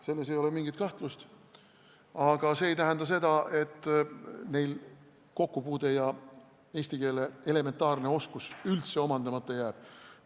Selles ei ole mingit kahtlust, aga see ei tähenda seda, et neil eesti keele elementaarne oskus üldse omandamata jääb.